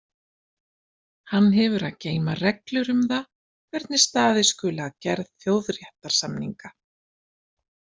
Hann hefur að geyma reglur um það hvernig staðið skuli að gerð þjóðréttarsamninga.